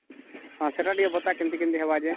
ହଁ କହ ଟିକେ ସେଇଟା କେମିତି ହେବ